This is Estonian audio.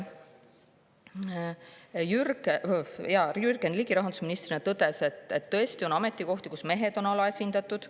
Jürgen Ligi rahandusministrina tõdes, et tõesti on ametikohti, kus mehed on alaesindatud.